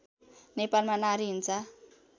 नेपालमा नारी हिंसा